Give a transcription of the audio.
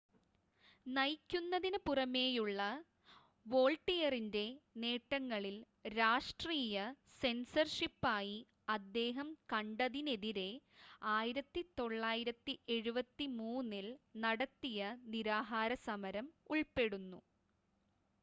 നയിക്കുന്നതിന് പുറമേയുള്ള വോൾട്ടിയറിൻ്റെ നേട്ടങ്ങളിൽ രാഷ്‌ട്രീയ സെൻസർഷിപ്പായി അദ്ദേഹം കണ്ടതിനെതിരെ 1973-ൽ നടത്തിയ നിരാഹാര സമരം ഉൾപ്പെടുന്നു